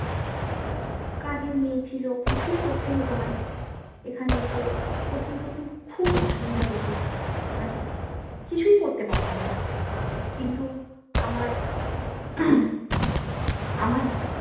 কাজের মেয়ে ছিল কিছুই করতে হতো না এখানে এসে প্রথম প্রথম খুব অসুবিধা হতো মানে কিছুই করতে পারতাম না কিন্তু আমার আমার